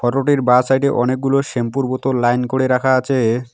Photo -টির বাঁ side এ অনেকগুলো শ্যাম্পু -এর বোতল লাইন করে রাখা আছে।